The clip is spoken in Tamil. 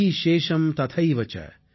வ்யாதி சேஷம் ததைவச